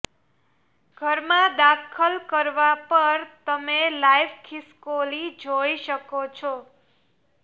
ઘરમાં દાખલ કરવા પર તમે લાઇવ ખિસકોલી જોઈ શકો છો